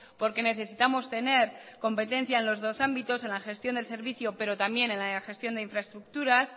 porque necesitamos tener competencia en los dos ámbitos en la gestión del servicio pero también en la gestión de infraestructuras